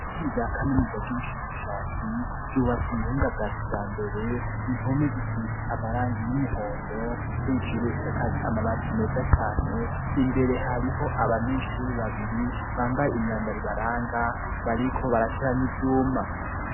Kuri rya kamenuza bw'ibishakashatsi yubatse umuhinga bwacu ya mbere inpome zisitse amaranga iy'umuhondo hejuru isakaje amabati meza cane imbere hariho abanyeshuri babiri bambaye imyambaribaranga bariko barateranya ivyuma.